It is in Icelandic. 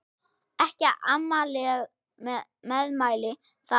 Ekki amaleg meðmæli það.